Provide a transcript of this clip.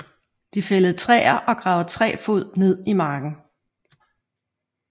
De fældede træet og gravede tre fod ned i marken